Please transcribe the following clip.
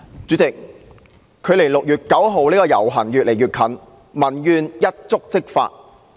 主席，距離6月9日的遊行活動越來越近，民怨一觸即發。